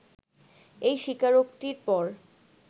এই স্বীকারোক্তির পর